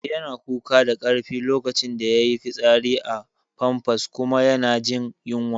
Eh, yana kuka da karfi lokacin da yayi fitsari a famfas kuma yana jin yunwa